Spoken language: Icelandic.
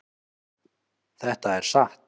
Þetta er satt.